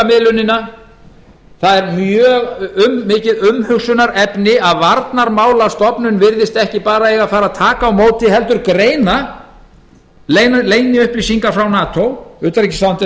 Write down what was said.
upplýsingamiðlunina það er mjög mikið umhugsunarefni að varnarmálastofnun virðist ekki einungis eiga að taka á móti heldur greina leyniupplýsingar frá nato utanríkisráðuneytið er líka